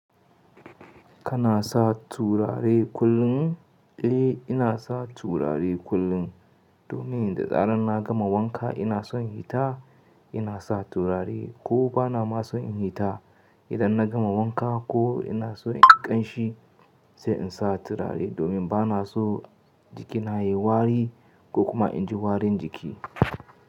Kana sa turare kullum? Eh, ina sa turare kullum. Domin da zarar na gama wanka ina son hita ina sa turare ko bana ma son in hita. Idan na gama wanka ko ina so inyi ƙanshi sai in sa turare domin bana so jikina yayi wari ko kuma inji warin jiki.